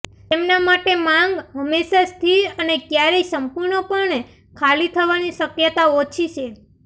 તેમના માટે માંગ હંમેશાં સ્થિર અને ક્યારેય સંપૂર્ણપણે ખાલી થવાની શક્યતા ઓછી છે